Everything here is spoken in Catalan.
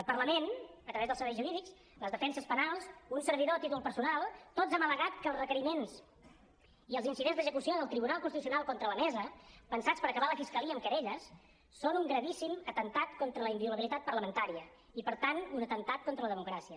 el parlament a través dels serveis jurídics les defenses penals un servidor a títol personal tots hem al·legat que els requeriments i els incidents d’execució del tribunal constitucional contra la mesa pensats per acabar a la fiscalia amb querelles són un gravíssim atemptat contra la inviolabilitat parlamentària i per tant un atemptat contra la democràcia